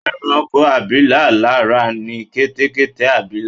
Ẹranko abilà lára ni Kẹ́tẹ́kẹ́tẹ́-abilà